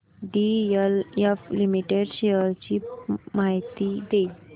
DLF limited shares ची माहिती दे